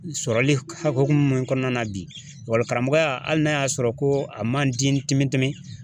Sɔrɔli hokumu kɔnɔna na bi ekɔli karamɔgɔya hali n'a y'a sɔrɔ ko a man di timi timi